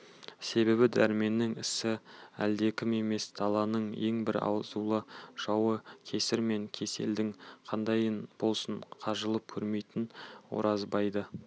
себебі дәрменнің ісі әлдекім емес даланың ең бір азулы жауы кесір мен кеселдің қандайынан болсын қажып көрмейтін оразбайды